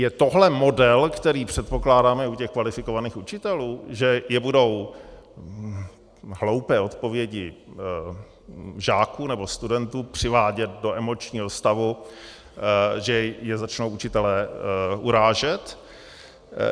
Je tohle model, který předpokládáme u těch kvalifikovaných učitelů, že je budou hloupé odpovědi žáků nebo studentů přivádět do emočního stavu, že je začnou učitelé urážet?